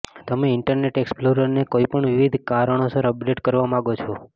તમે ઇન્ટરનેટ એક્સપ્લોરરને કોઈપણ વિવિધ કારણોસર અપડેટ કરવા માગો છો